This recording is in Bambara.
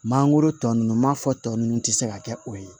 Mangoro tɔ ninnu m'a fɔ tɔ ninnu tɛ se ka kɛ o ye